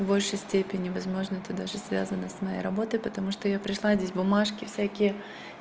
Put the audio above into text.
в большей степени возможно это даже связано с моей работой потому что я пришла здесь бумажки всякие